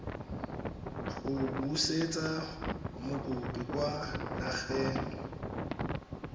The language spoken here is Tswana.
go busetsa mokopi kwa nageng